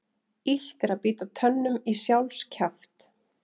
Illt er að bíta tönnum í sjálfs kjaft.